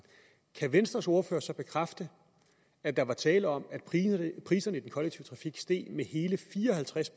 kan venstres ordfører så bekræfte at der var tale om at priserne i den kollektive trafik steg med hele fire og halvtreds